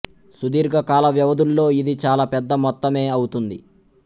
సుదీర్ఘ కాల వ్యవధుల్లో ఇది చాలా పెద్ద మొత్తమే అవుతుంది